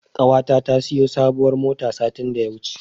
Ƙawata ta siyo sabuwar mota satin da ya wuce.